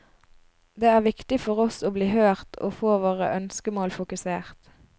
Det er viktig for oss å bli hørt og få våre ønskemål fokusert.